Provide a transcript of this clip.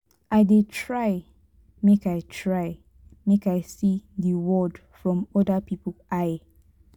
i dey try make i try make i see di world from oda pipo eye.